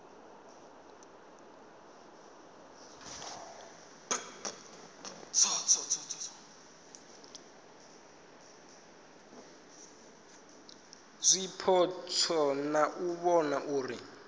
zwipotso na u vhona uri